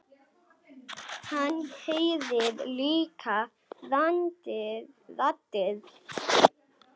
Hann heyrir líka raddir.